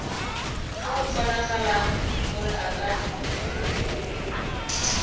go kgonagalang gore a ka